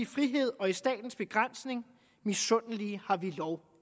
frihed og i statens begrænsning misundelige har vi lov